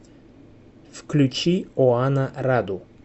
включи оана раду